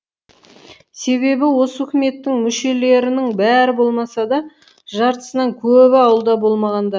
себебі осы үкіметтің мүшелерінң бәрі болмаса да жартысынан көбі ауылда болмағандар